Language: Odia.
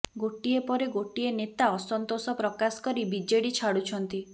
ଗୋଟିଏ ପରେ ଗୋଟିଏ ନେତା ଅସନ୍ତୋଷ ପ୍ରକାଶ କରି ବିଜେଡି ଛାଡ଼ୁଛନ୍ତି